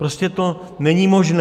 Prostě to není možné.